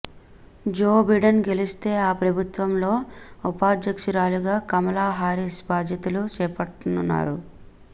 జో Biden గెలిస్తే ఆ ప్రభుత్వంలో ఉపాధ్యక్షురాలిగా కమలా హారిస్ బాధ్యతలు చేపట్టనున్నారు